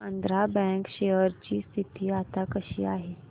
Andhra bank share ची स्थिती आता कशी आहे